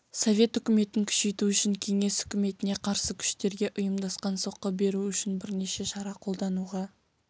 совет үкіметін күшейту үшін кеңес үкіметіне қарсы күштерге ұйымдасқан соққы беру үшін бірнеше шара қолдануға